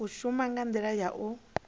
shuma nga ndila ya u